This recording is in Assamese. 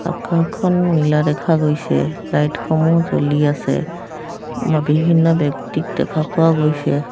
আকাশখন নীলা দেখা গৈছে লাইটসমূহ জ্বলি আছে বিভিন্ন ব্যক্তিক দেখা পোৱা গৈছে।